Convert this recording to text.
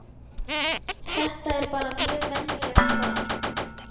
Þetta er bara mjög venjulegt barn.